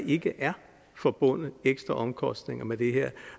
ikke er forbundet ekstra omkostninger med det her